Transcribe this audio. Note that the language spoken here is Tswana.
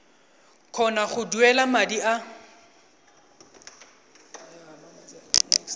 kgona go duela madi a